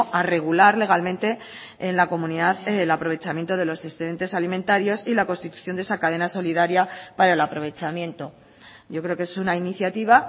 a regular legalmente en la comunidad el aprovechamiento de los excedentes alimentarios y la constitución de esa cadena solidaria para el aprovechamiento yo creo que es una iniciativa